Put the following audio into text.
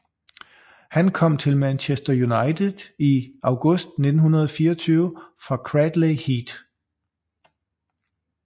Han kom til Manchester United i august 1924 fra Cradley Heath